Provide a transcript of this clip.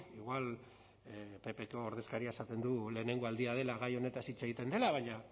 igual ppko ordezkariak esaten du lehenengo aldia dela gai honetaz hitz egiten dela baina